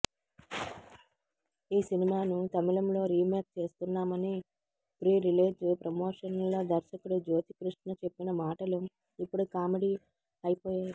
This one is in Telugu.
ఈ సినిమాను తమిళంలో రీమేక్ చేస్తున్నామని ప్రి రిలీజ్ ప్రమోషన్లలో దర్శకుడు జ్యోతికృష్ణ చెప్పిన మాటలు ఇప్పుడు కామెడీ అయిపోయాయి